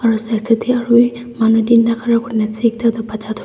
aro side side tey arowi manu tinda khara kuri kena ase ekta toh bacha toh--